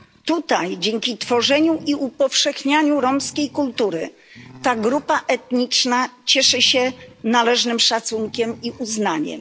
Tutaj dzięki tworzeniu i upowszechnianiu kultury romskiej ta grupa etniczna cieszy się należnym szacunkiem i uznaniem.